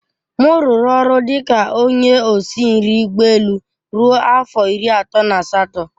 M rụrụ ọrụ dị ka onye osi nri ụgbọ elu ruo afọ iri atọ na asatọ.